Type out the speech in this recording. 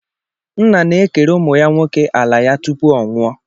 Nna na-ekere ụmụ ya nwoke ala ya tupu ọ nwụọ.